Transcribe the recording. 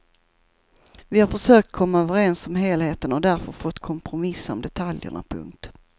Vi har försökt komma överens om helheten och därför fått kompromissa om detaljerna. punkt